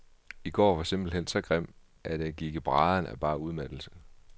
I går var simpelt hen så grim, at jeg gik i brædderne af bare udmattelse.